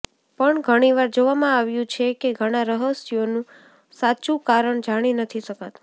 પણ ઘણીવાર જોવામાં આવ્યું છે કે ઘણા રહસ્યો નું સાચું કારણ જાણી નથી શકાતું